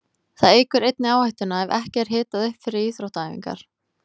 Það eykur einnig áhættuna ef ekki er hitað upp fyrir íþróttaæfingar.